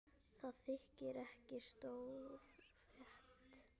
Það þykir ekki stór frétt.